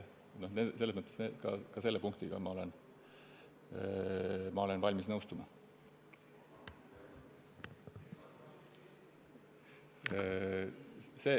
Selles mõttes olen ma ka selle punktiga valmis nõustuma.